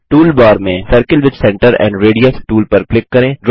tool bar में circle with centre and radius tool पर click करें